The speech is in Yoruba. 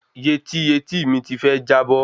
Yetí etííìmi ti fẹ́ jábọ́